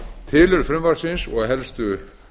tilurð frumvarpsins og helstu